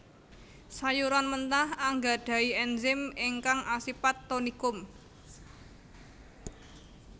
Sayuran mentah anggadhahi ènzim ingkang asipat tonikum